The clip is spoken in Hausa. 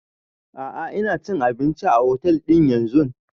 A'a ina cin abinci a otel din yanzun